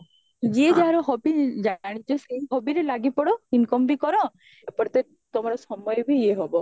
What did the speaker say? ଯିଏ ଯାହାର hobby ବ୍ଯନିଚ ସେଇ hobbyରେ ଲାଗିପଡ incomeବି କର ଏପଟେ ତ ତମର ସମୟବି ଇଏ ହବ